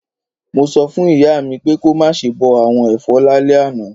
Mo so fún ìyá mi pé ko máse bo àwon èfọ́ lálẹ́ àná